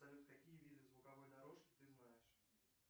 салют какие виды звуковой дорожки ты знаешь